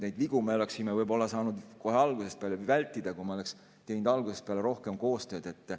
Neid vigu me oleksime võib-olla saanud vältida, kui me oleksime teinud algusest peale rohkem koostööd.